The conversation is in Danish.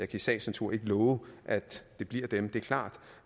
i sagens natur ikke love at det bliver dem det er klart